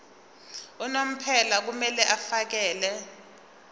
unomphela kumele afakele